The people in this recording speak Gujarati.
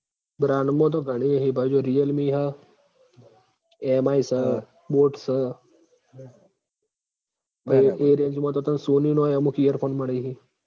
brand મ તો ઘણીય હી ભાઈ જો realme હ MI સ boat સ એ range મ તો તન sony નોય અમુક earphone મળી હી